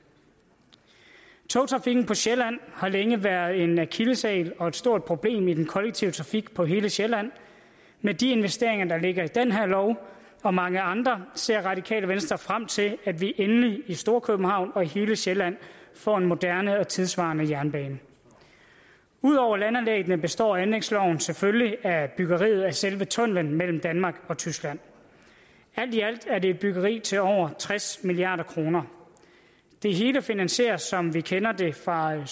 togtrafikken på sjælland har længe været en akilleshæl og et stort problem for den kollektive trafik på hele sjælland med de investeringer der ligger i den her lov og mange andre ser radikale venstre frem til at vi endelig i storkøbenhavn og på hele sjælland får en moderne og tidssvarende jernbane ud over landanlæggene består anlægsloven selvfølgelig af byggeriet af selve tunnelen mellem danmark og tyskland alt i alt er det et byggeri til over tres milliard kroner det hele finansieres som vi kender det fra